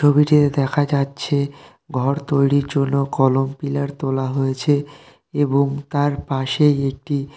ছবিতে দেখা যাচ্ছে ঘর তৈরী জন্য কলম পিলার তোলা হয়েছে এবং তার পাশেই একটি--